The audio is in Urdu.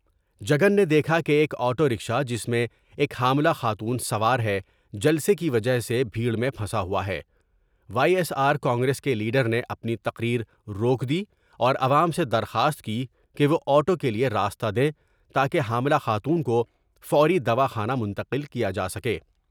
جگن نے دیکھا کہ ایک آٹو رکشا جس میں ایک حاملہ خاتون سوار ہے جلسے کی وجہ سے بھیٹر میں پھنسا ہوا ہے ، وائی ایس آرکانگریس کے لیڈر نے اپنی تقریر روک دی اور عوام سے درخواست کی کہ وہ آٹو کے لیے راستہ دیں تا کہ حاملہ خاتون کوفوری دواخانہ منتقل کیا جا سکے۔